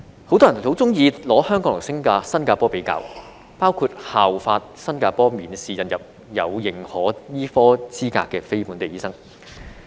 很多人很喜歡將香港和新加坡作比較，包括效法新加坡免試引入有認可醫科資格的非本地醫生。